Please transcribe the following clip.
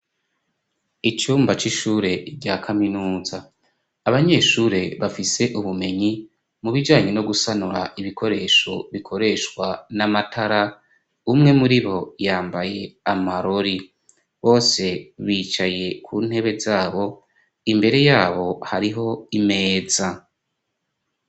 Icumba c'ishure rya kaminuza abanyeshure bafise ubumenyi mu bijanye no gusanura ibikoresho bikoreshwa n'amatara umwe muribo yambaye amarori, bose bicaye ku ntebe zabo imbere yabo hariho imeza.